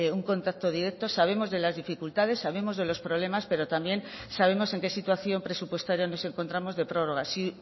un contacto directo sabemos de las dificultades sabemos de los problemas pero también sabemos en qué situación presupuestaria nos encontramos de prórroga si